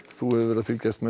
þú hefur verið að fylgjast með